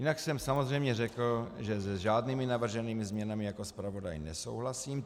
Jinak jsem samozřejmě řekl, že s žádnými navrženými změnami jako zpravodaj nesouhlasím.